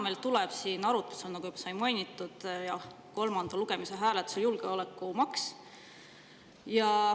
Täna tuleb meil siin arutlusele, nagu juba sai mainitud, jah, kolmandal lugemisel tuleb hääletusele julgeolekumaks.